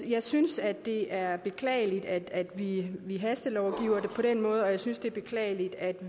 jeg synes at det er beklageligt at vi vi hastelovgiver på den måde og jeg synes det er beklageligt at